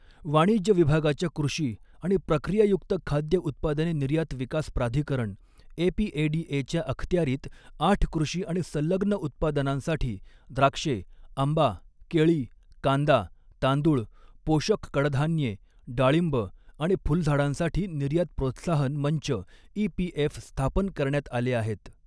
वाणिज्य विभागाच्या कृषी आणि प्रक्रियायुक्त खाद्य उत्पादने निर्यात विकास प्राधिकरण एपीएडीए च्या अखत्यारीत आठ कृषी आणि संलग्न उत्पादनांसाठी द्राक्षे, आंबा, केळी, कांदा, तांदूळ, पोषक कडधान्ये, डाळिंब आणि फुलझाडांसाठी निर्यात प्रोत्साहन मंच ईपीएफ स्थापन करण्यात आले आहेत.